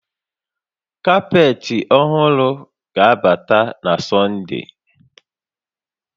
Kapetị ọhụrụ ga-abata na Sọnde